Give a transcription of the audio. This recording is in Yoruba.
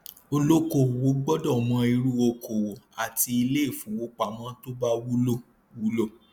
olókòòwò gbọdọ mọ irú okòòwò àti iléifowópamọ tó bá wúlò wúlò